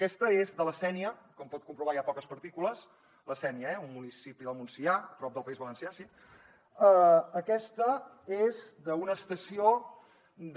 aquest és de la sénia com pot comprovar hi ha poques partícules la sénia eh un municipi del montsià prop del país valencià sí aquest és d’una estació de